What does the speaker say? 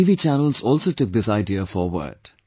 Some TV channels also took this idea forward